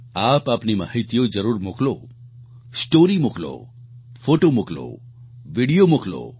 આપ આપની માહીતીઓ જરૂર મોકલો સ્ટોરી મોકલો ફોટો મોકલો વીડિયો મોકલો